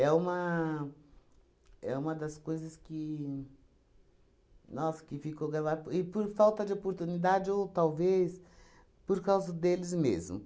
uma é uma das coisas que, nossa, ficou gravada, p e por falta de oportunidade ou, talvez, por causa deles mesmos.